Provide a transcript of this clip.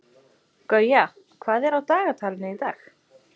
Gauja, hvað er á dagatalinu í dag?